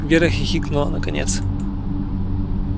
вера хихикнула наконец